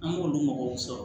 An b'olu mɔgɔw sɔrɔ